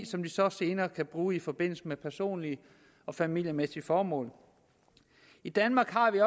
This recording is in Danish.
som de så senere kan bruge i forbindelse med personlige og familiemæssige formål i danmark har vi